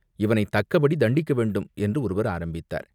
இவனை தக்கபடி தண்டிக்கவேண்டும்!" என்று ஒருவர் ஆரம்பித்தார்.